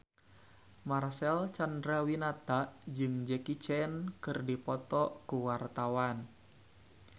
Marcel Chandrawinata jeung Jackie Chan keur dipoto ku wartawan